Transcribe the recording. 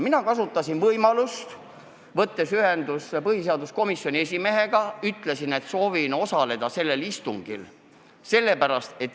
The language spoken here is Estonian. Mina kasutasin võimalust, võtsin ühendust põhiseaduskomisjoni esimehega ja ütlesin, et soovin sellel istungil osaleda.